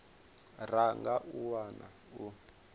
ra nga a wana u